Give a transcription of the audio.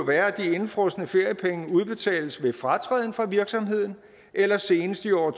være at de indefrosne feriepenge udbetales ved fratræden fra virksomheden eller senest i år